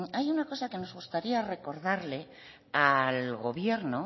hay una cosa que nos gustaría recordarle al gobierno